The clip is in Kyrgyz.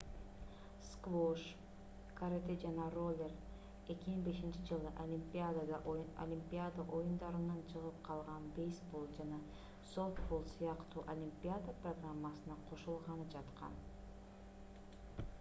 сквош карате жана роллер 2005-жылы олимпиада оюндарынан чыгып калган бейсбол жана софтбол сыяктуу олимпиада программасына кошулганы жаткан